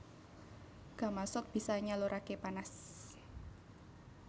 Gamasot bisa nyaluraké panas